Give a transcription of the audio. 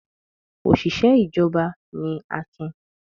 Òṣìṣẹ́ ìjọba ni Akin.